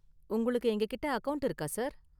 உங்களுக்கு எங்ககிட்ட அக்கவுண்ட் இருக்கா, சார்?